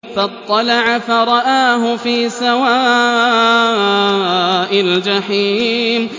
فَاطَّلَعَ فَرَآهُ فِي سَوَاءِ الْجَحِيمِ